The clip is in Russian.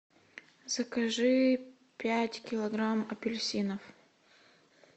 закажи пять килограмм апельсинов